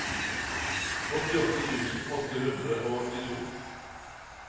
åttiåtte tusen åtte hundre og åttito